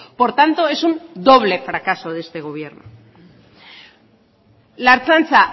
por tanto es un doble fracaso de este gobierno la ertzaintza